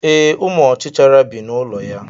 Ee, ụmụ ọchichara bi n'ụlọ ya.